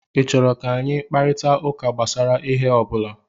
Ị chọrọ ka anyị kparịta ụka gbasara ihe ọ bụla?